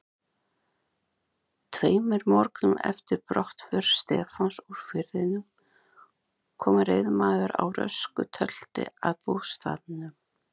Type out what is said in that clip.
Tveimur morgnum eftir brottför Stefáns úr firðinum kom reiðmaður á rösku tölti að bústaðnum.